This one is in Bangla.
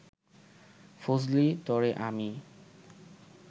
ফজলি, তরে আমি